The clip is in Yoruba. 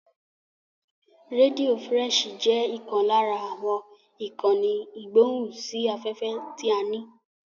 Rédíò frẹ́ṣì jẹ́ ìkan lára àwọn ìkànnì ìgbóhùn sí afẹ́fẹ́ ti a ní.